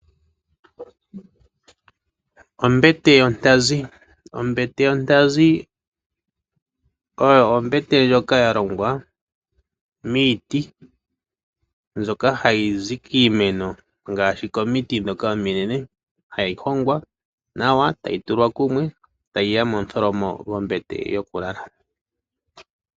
Ombete yontazi oyo ombete ndjoka yalongwa miiti , ndjoka hayi zi kiimeno ngaashi komiti ndhoka ominene, hayi hongwa nawa , tayiya kumwe, tayiya momutholomo gombete yokulala.